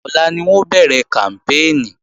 Ọ̀la ni wọn ó bẹ̀rẹ̀ kàmpéènì